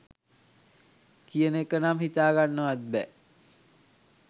කියන එක නම් හිතාගන්නවත් බෑ.